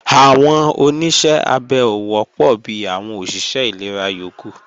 Àwọn Oníṣẹ́ abẹ ò wọ́pọ̀ bi àwọn òṣìṣẹ́ ìlera yókù